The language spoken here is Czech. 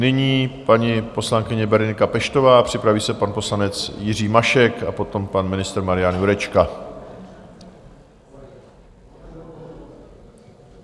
Nyní paní poslankyně Berenika Peštová, připraví se pan poslanec Jiří Mašek a potom pan ministr Marian Jurečka.